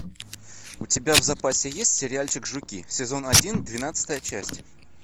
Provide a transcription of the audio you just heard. у тебя в запасе есть сериальчик жуки сезон один двенадцатая часть